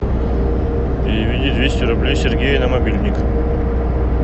переведи двести рублей сергею на мобильник